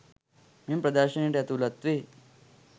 මෙම ප්‍රදර්ශනයට ඇතුළත් වේ